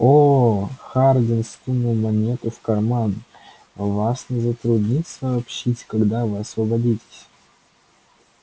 оо хардин сунул монету в карман вас не затруднит сообщить когда вы освободитесь